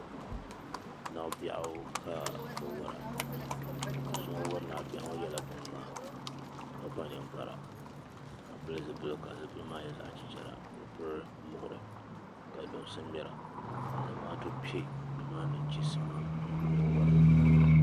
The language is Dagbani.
Naɣabɛɣu ka bi wara doo so ŋun wari naɣabɛɣu ŋɔ yɛla binŋmaa ka kpa ninkpara ka pili zipiligu ka zipiligu maa nyɛ zaɣa chichara ka piri muɣiri ka luŋsi ŋmera ka zamaatu piɛ ni maa ni chisimam n yuuni o ni wari maa.